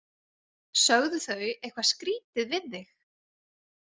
Sögðu þau eitthvað skrítið við þig?